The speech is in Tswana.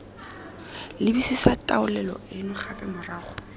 lebisisa taolelo eno gape morago